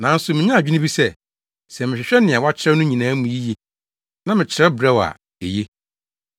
Nanso minyaa adwene bi sɛ, sɛ mehwehwɛ nea wɔakyerɛw no nyinaa mu yiye na mekyerɛw brɛ wo a, eye.